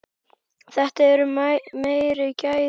Þetta eru meiri gæði.